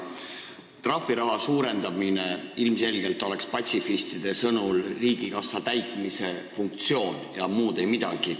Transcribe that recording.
Trahviraha suurendamine oleks patsifistide sõnul ilmselgelt riigikassa täitmise funktsioon ja muud ei midagi.